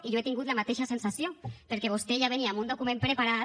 i jo he tingut la mateixa sensació perquè vostè ja venia amb un document preparat